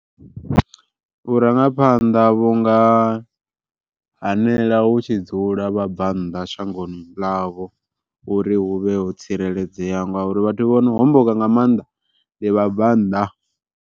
Vhurangaphanḓa vhunga hanela hu tshi dzula vhabvannḓa shangoni ḽavho, uri hu vhe ho tsireledzeaho ngauri vhathu vhono homboka nga maanḓa ndi vhabvannḓa.